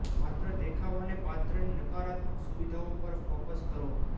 માત્ર દેખાવ અને પાત્રની નકારાત્મક સુવિધાઓ પર ફોકસ કરો